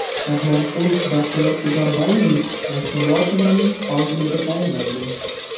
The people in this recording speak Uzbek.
Rahmonqulov Baxtiyor Tugambayevich Yashnobod tumanining hokimi etib tayinlandi.